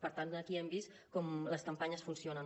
per tant aquí hem vist com les campanyes funcionen